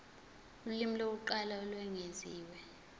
ulimi lokuqala olwengeziwe